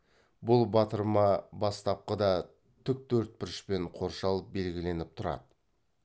бұл батырма бастапқыда тіктөртбұрышпен қоршалып белгіленіп тұрады